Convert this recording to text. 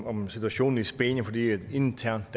om situationen i spanien fordi det er et internt